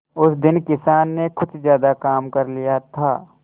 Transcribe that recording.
उस दिन किसान ने कुछ ज्यादा काम कर लिया था